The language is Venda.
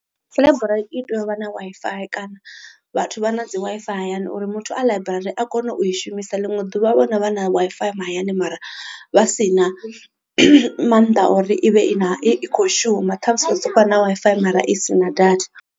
Ḽaiburari i tea u vha na Wi-Fi kana vhathu vha na dzi Wi-Fi hayani uri muthu a ḽaiburari a kone u i shumisa ḽiṅwe ḓuvha wo no vha na Wi-Fi mahayani mara vha si na mannḓa uri i vhe i na i kho shuma ṱhamusi i soko vha na Wi-Fi mara i si na data.